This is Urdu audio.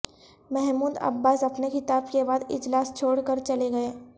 محمود عباس اپنے خطاب کے بعد اجلاس چھوڑ کر چلے گئے